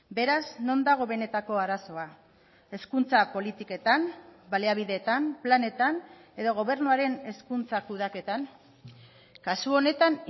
beraz non dago benetako arazoa hezkuntza politiketan baliabidetan planetan edo gobernuaren hezkuntza kudeaketan kasu honetan